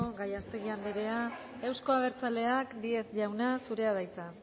gallástegui anderea euzko abertzaleak díez jauna zurea da hitza